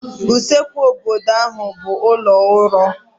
Usekwu obodo ha bụ ụlọ uro